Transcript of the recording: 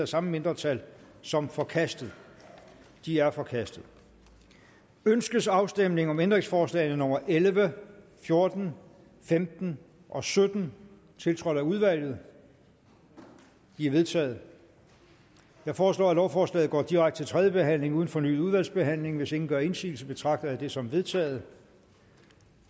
samme mindretal som forkastet de er forkastet ønskes afstemning om ændringsforslagene nummer elleve fjorten femten og sytten tiltrådt af udvalget de er vedtaget jeg foreslår at lovforslaget går direkte til tredje behandling uden fornyet udvalgsbehandling hvis ingen gør indsigelse betragter jeg det som vedtaget